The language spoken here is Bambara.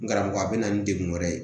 N karamɔgɔ a bɛ na ni degun wɛrɛ ye